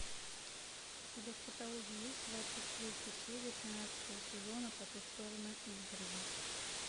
у тебя в каталоге есть двадцать третья серия тринадцатого сезона по ту сторону изгороди